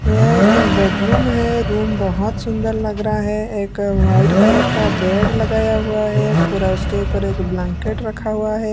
ये एक बेडरूम है रूम बहुत सुंदर लग रहा है एक वाइट कलर का बेड लगाया हुआ है पूरा उसके ऊपर एक ब्लैंकेट रखा हुआ है।